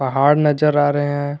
पहाड़ नजर आ रहे हैं।